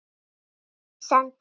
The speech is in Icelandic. Þín, Sandra.